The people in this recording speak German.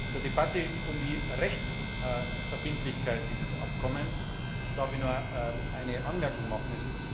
Zur Debatte um die Rechtsverbindlichkeit dieses Abkommens darf ich noch eine Anmerkung machen.